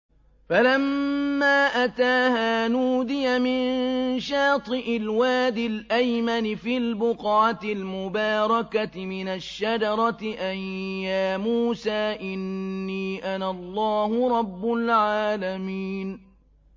فَلَمَّا أَتَاهَا نُودِيَ مِن شَاطِئِ الْوَادِ الْأَيْمَنِ فِي الْبُقْعَةِ الْمُبَارَكَةِ مِنَ الشَّجَرَةِ أَن يَا مُوسَىٰ إِنِّي أَنَا اللَّهُ رَبُّ الْعَالَمِينَ